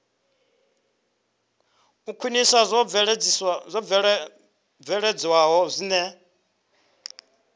u khwinisa zwo bveledzwaho zwine